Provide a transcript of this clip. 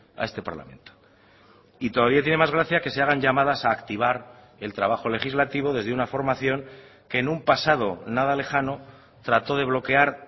a este parlamento y todavía tiene más gracia que se hagan llamadas a activar el trabajo legislativo desde una formación que en un pasado nada lejano trató de bloquear